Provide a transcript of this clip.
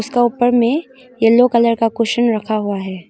इसका ऊपर में येलो कलर का कुशन रखा हुआ है।